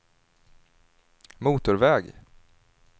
motorväg